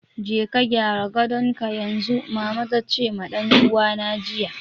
"Je ka gyara gadonka yanzu!" mama tace ma dan uwana jiya.